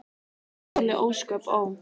Svona þoli ósköp, ó!